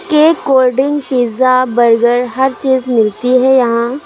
Cake cold drink pizza burger हर चीज़ मिलती हैं यहाँ।